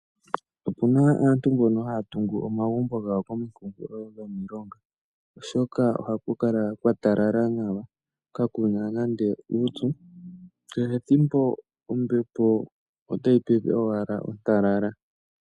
Opuna aantu mbono haya tungu omagumbo gawo komikunkulo dhomilonga, oshoka ohaku kala kwa talala nawa kakuna nande uupyu kehethimbo ombepo otayi pepe owala ontalala.